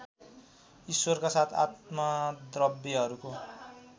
ईश्वरका साथ आत्मद्रव्यहरूको